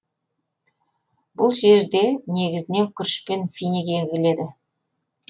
бұл жерде негізінен күріш пен финик егіледі